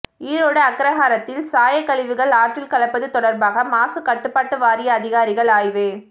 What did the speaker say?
ஈரோடு அக்ரஹாரத்தில் சாயக்கழிவுகள் ஆற்றில் கலப்பது தொடர்பாக மாசுக்கட்டுப்பாட்டு வாரிய அதிகாரிகள் ஆய்வு